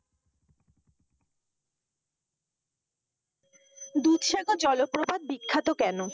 দুধসাগর জলপ্রপাত বিখ্যাত কেন?